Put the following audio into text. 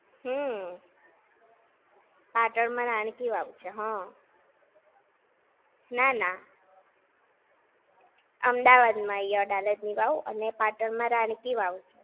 હમ્મ. પાટણ માં રણકી વાવ છે. ના ના. અમદાવાદ માં આઈ અડાલજની વાવ અને પાટણ માં રણકી વાવ!